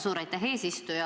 Suur aitäh, eesistuja!